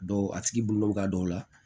a tigi bolonɔ ka don o la